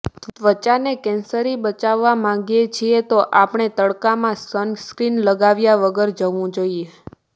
ત્વચાને કેન્સરી બચાવવા માંગીએ છીએ તો આપણે ોડી તડકામાં સનસ્ક્રિન લગાવ્યા વગર જવું જોઇએ